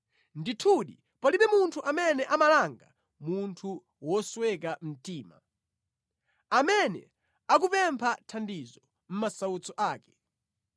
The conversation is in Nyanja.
“Ndithudi palibe munthu amene amalanga munthu wosweka mtima, amene akupempha thandizo mʼmasautso ake.